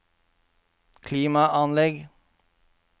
klimaanlegg